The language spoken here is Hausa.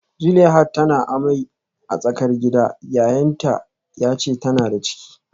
Zuleihat tana amai a tsakar gida, yayanta ya ce tana da ciki